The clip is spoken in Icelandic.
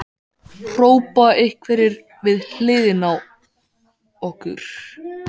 hrópa einhverjir við hliðina á okkur.